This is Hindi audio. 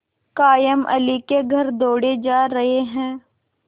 कायमअली के घर दौड़े जा रहे हैं